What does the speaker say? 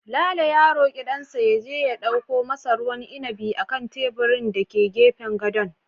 Lalo ya roki dansa ya je ya dauko masa ruwan inabi a kan teburin da ke gefen gadon